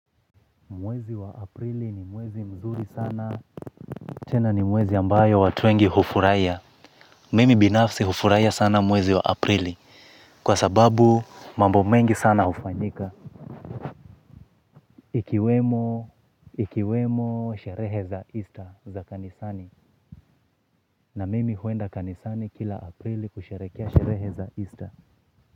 Mwezi wa aprili ni mwezi mzuri sana. Tena ni mwezi ambayo watuengi hufuraiya. Mimi binafsi hufuraiya sana mwezi wa aprili. Kwa sababu mambo mengi sana ufanyika. Ikiwemo sherehe za easter za kanisani na mimi huenda kanisani kila aprili kusherekea sherehe za easter.